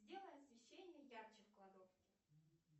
сделай освещение ярче в кладовке